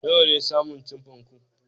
Nawa ne saman chiffon ku